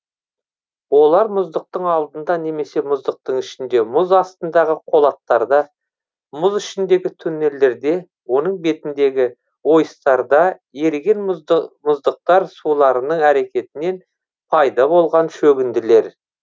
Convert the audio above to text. олар мұздықтың алдында немесе мұздықтың ішінде мұз астындағы қолаттарда мұз ішіндегі туннелдерде оның бетіндегі ойыстарда еріген мұздықтар суларының әрекетінен пайда болған шөгінділер